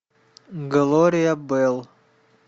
глория белл